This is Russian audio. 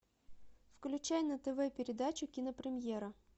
включай на тв передачу кинопремьера